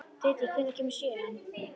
Diddi, hvenær kemur sjöan?